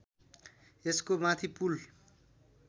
यसको माथि पुल